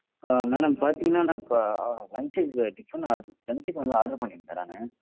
ஆஹ் madam பாத்தீங்கன்னா நான் இப்போ, அ lunch க்கு tiffin order~ lunch க்கு வந்து order பண்ணியிருந்தேன் நானு